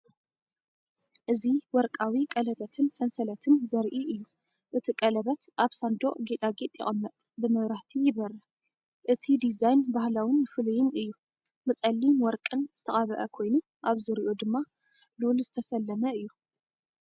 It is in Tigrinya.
እዚ ወርቃዊ ቀለቤትን ሰንሰለትን ዘርኢ እዩ፤ እቲ ቀለቤት ኣብ ሳንዱቕ ጌጣጌጥ ይቕመጥ፣ ብመብራህቲ ይበርህ። እቲ ዲዛይን ባህላውን ፍሉይን እዩ፤ ብጸሊምን ወርቅን ዝተቐብአ ኮይኑ ኣብ ዙርያኡ ድማ ሉል ዝተሰለመ እዩ።